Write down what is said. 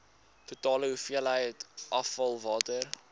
totale hoeveelheid afvalwater